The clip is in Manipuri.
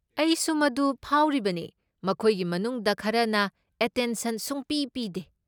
ꯑꯩꯁꯨ ꯃꯗꯨ ꯐꯥꯎꯔꯤꯕꯅꯦ, ꯃꯈꯣꯏꯒꯤ ꯃꯅꯨꯡꯗ ꯈꯔꯅ ꯑꯇꯦꯟꯁꯟ ꯁꯨꯡꯄꯤ ꯄꯤꯗꯦ꯫